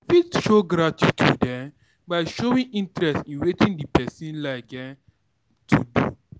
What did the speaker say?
You fit show gratitude um by showing interest in wetin di person like um to do